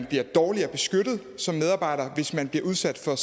bliver dårligere beskyttet som medarbejder hvis man bliver udsat for